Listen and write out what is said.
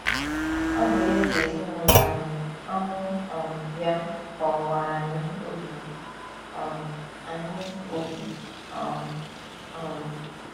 Ọ bụ ya ji ezinụlọ anyị, ọnwụ um ya gbawakwara anyị obi um anyị obi um. um